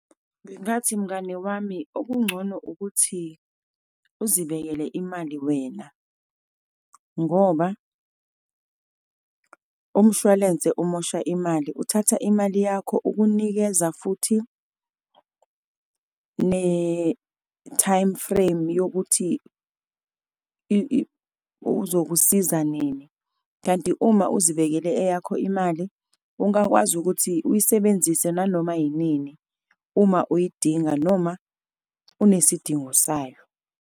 Ngingathi, mngani wami, okungcono ukuthi uzibekele imali wena, ngoba umshwalense umosha imali. Uthatha imali yakho, ukunikeza futhi ne-timeframe yokuthi uzokusiza nini, kanti uma uzibekela eyakho imali, ungakwazi ukuthi uyisebenzise nanoma inini uma uyidinga noma unesidingo sayo.